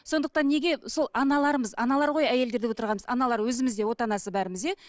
сондықтан неге сол аналармыз аналар ғой әйелдер деп отырғанымыз аналар өзіміз де отанасы бәріміз иә